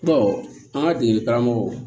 an ka degeli karamɔgɔw